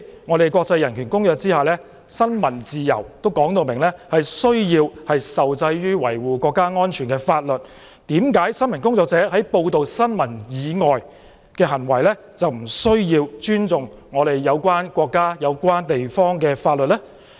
在國際人權公約之下，新聞自由受制於維護國家安全的法律，為何新聞工作者在報道新聞以外的行為，卻不需要尊重有關國家、地方的法律呢？